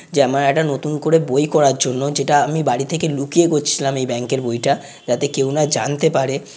যে আমার একটা নতুন করে বই করার জন্য যেটা আমি বাড়ি থেকে লুকিয়ে করছিলাম এই ব্যাঙ্ক এর বইটা। যাতে কেউ না জানতে পারে।